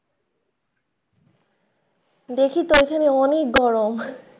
দেখি তো ঐখানে অনেক গরম।